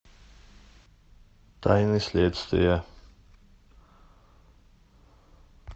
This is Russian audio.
тайны следствия